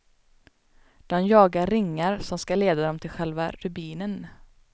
De jagar ringar, som skall leda dem till själva rubinen.